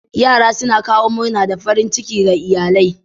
Yara suna kawo murna da farin ciki ga iyalai.